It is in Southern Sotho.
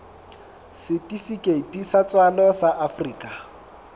setifikeiti sa tswalo sa afrika